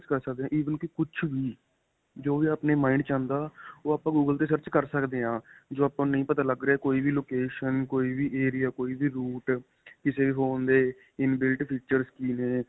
search ਕਰ ਸਕਦੇ ਆ even ਕੀ ਕੁੱਝ ਵੀ, ਜੋ ਵੀ ਆਪਣੇ mind ਵਿੱਚ ਆਉਂਦਾ ਓਹ ਆਪਾਂ google ਤੇ search ਕਰ ਸਕਦੇ ਹਾਂ ਜੋ ਆਪਾਂ ਨੂੰ ਨਹੀ ਪਤਾ ਲੱਗ ਰਿਹਾ. ਕੋਈ ਵੀ location, ਕੋਈ ਵੀ ਏਰੀਆ, ਕੋਈ ਵੀ route, ਕਿਸੇ phone ਦੇ inbuild features ਕੀ ਨੇ